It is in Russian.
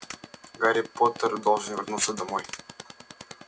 гарри поттер должен вернуться домой